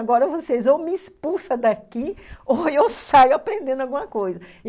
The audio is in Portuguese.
Agora ou vocês ou me expulsam daqui ou eu saio aprendendo alguma coisa.